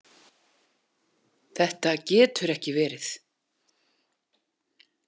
Þetta getur ekki verið!